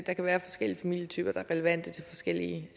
der kan være forskellige familietyper der er relevante til forskellige